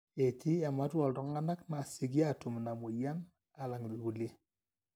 etii ematua ooltung'anak naasioki aatum ina mweyian aalang irkulie